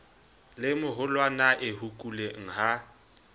le moholwanae ho kuleng ha